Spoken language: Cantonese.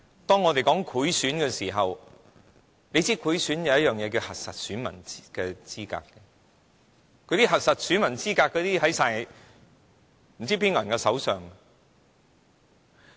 當我們說到賄選——要知道賄選有一件事是核實選民資格——那些用於核實選民資格的資料，不知在誰手上？